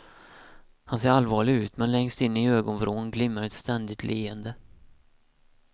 Han ser allvarlig ut men längst in i ögonvrån glimmar ett ständigt leende.